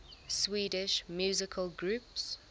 swedish musical groups